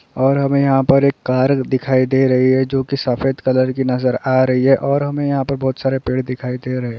और हमें यहाँ पर एक कार दिखाई दे रही है जोकि सफेद कलर की नजर आ रही है और हमें यहाँ पे बहुत सारे पेड़ दिखाई दे रहे है।